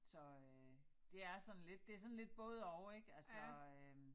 Så øh det er sådan lidt det sådan lidt både og ik altså øh